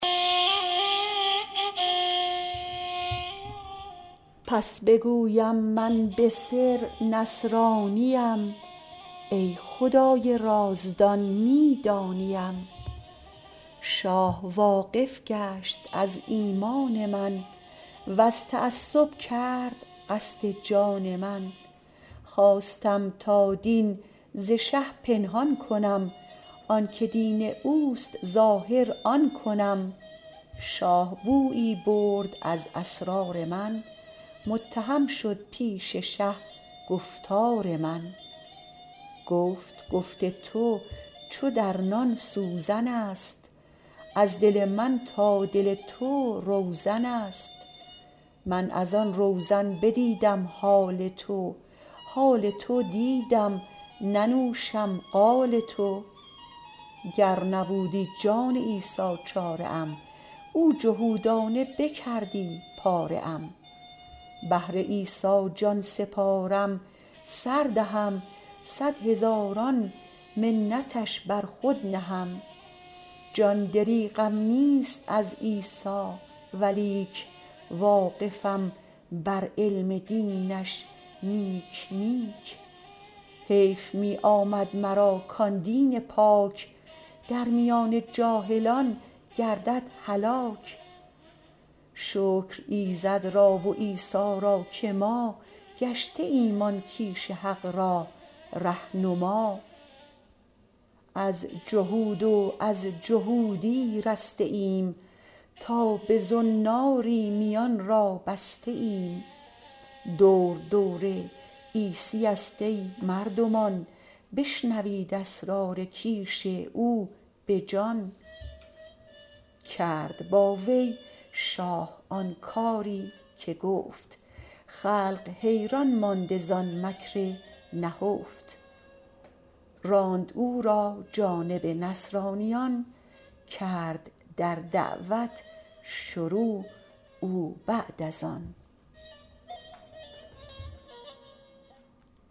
پس بگویم من به سر نصرانیم ای خدای رازدان می دانیم شاه واقف گشت از ایمان من وز تعصب کرد قصد جان من خواستم تا دین ز شه پنهان کنم آنک دین اوست ظاهر آن کنم شاه بویی برد از اسرار من متهم شد پیش شه گفتار من گفت گفت تو چو در نان سوزنست از دل من تا دل تو روزنست من از آن روزن بدیدم حال تو حال تو دیدم ننوشم قال تو گر نبودی جان عیسی چاره ام او جهودانه بکردی پاره ام بهر عیسی جان سپارم سر دهم صد هزاران منتش بر خود نهم جان دریغم نیست از عیسی ولیک واقفم بر علم دینش نیک نیک حیف می آمد مرا کان دین پاک درمیان جاهلان گردد هلاک شکر ایزد را و عیسی را که ما گشته ایم آن کیش حق را ره نما از جهود و از جهودی رسته ایم تا به زناری میان را بسته ایم دور دور عیسیست ای مردمان بشنوید اسرار کیش او بجان کرد با وی شاه آن کاری که گفت خلق حیران مانده زان مکر نهفت راند او را جانب نصرانیان کرد در دعوت شروع او بعد از آن